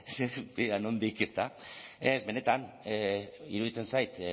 ea nondik ezta ez benetan iruditzen zait